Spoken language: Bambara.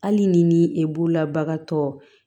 Hali ni e bolola bagan tɔ